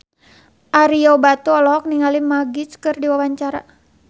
Ario Batu olohok ningali Magic keur diwawancara